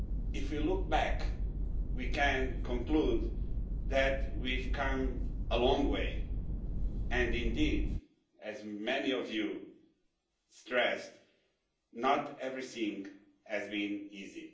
If we look back, we can conclude that we have come a long way and, indeed, as many of you stressed, not everything has been easy.